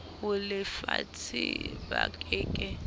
ho lefatshe ba ke ke